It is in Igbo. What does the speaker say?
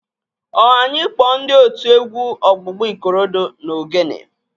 Ọ anyị kpọọ ndị otu egwu ọgbụgba Ikorodu na Ogene?